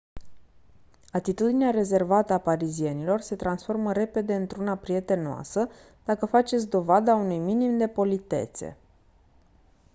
atitudinea rezervată a parizienilor se transformă repede într-una prietenoasă dacă faceți dovada unui minim de politețe